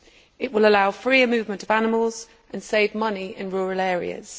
It will allow freer movement of animals and save money in rural areas.